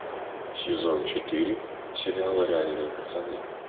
сезон четыре сериала реальные пацаны